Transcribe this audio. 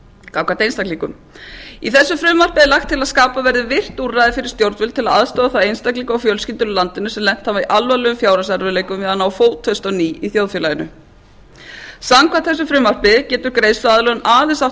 gagnvart einstaklingum í þessu frumvarpi er lagt til að skapað verði visst úrræði fyrir stjórnvöld til að aðstoða þá einstaklinga og fjölskyldur í landinu sem lent hafa í alvarlegum fjárhagserfiðleikum við að ná fótfestu á ný í þjóðfélaginu samkvæmt þessu frumvarpi getur greiðsluaðlögun aðeins átt við